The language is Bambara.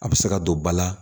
A bɛ se ka don ba la